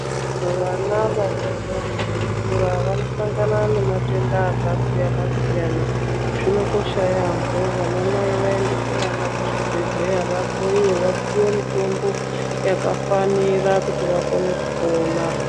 Vana vadodori veikura vanosangana nematenda akasiyana siyana zvinokosha yaambho vana nai vaendese vana kuzvibhedhleya vahloyiwe vapiwe mutombo yakafanira kuti vakone kupona.